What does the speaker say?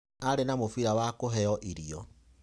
Arĩ na mũbira wa kũheo irio.